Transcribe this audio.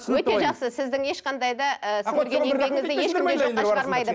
өте жақсы сіздің ешқандай да ы сіңірген еңбегіңізді ешкім де жоққа шығармайды